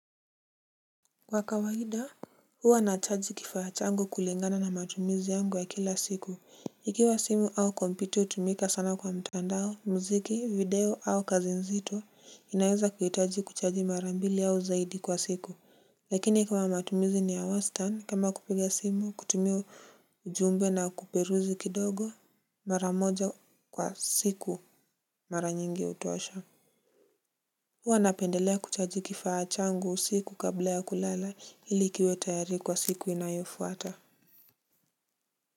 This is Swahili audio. Kwa kawaida, huwa na chaji kifaa changu kulingana na matumizi yangu ya kila siku. Ikiwa simu au kompyuta hutumika sana kwa mtandao, mziki, video au kazi nzito, inaweza kuhitaji kuchaji marambili au zaidi kwa siku. Lakini kama matumizi ni ya wastan, kama kupiga simu, kutumia ujumbe na kuperuzi kidogo, maramoja kwa siku maranyingi hutosha. Wanapendelea kuchaji kifaa changu usiku kabla ya kulala ilikiwe tayari kwa siku inayofuata.